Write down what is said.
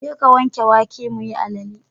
Jeka wanke wake muyi alale.